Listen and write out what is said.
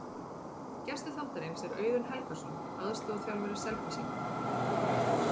Gestur þáttarins er Auðun Helgason, aðstoðarþjálfari Selfyssinga.